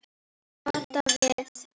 Kata við.